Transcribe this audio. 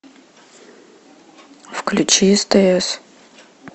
включи стс